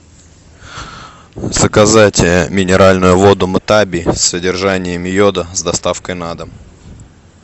заказать минеральную воду мтаби с содержанием йода с доставкой на дом